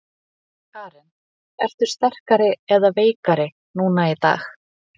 Karen: Ertu sterkari eða veikari núna í dag?